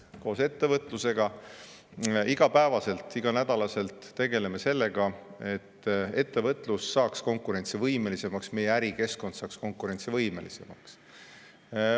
Koos ettevõtlusega igapäevaselt, iganädalaselt tegeleme sellega, et ettevõtlus saaks konkurentsivõimelisemaks, et meie ärikeskkond saaks konkurentsivõimelisemaks.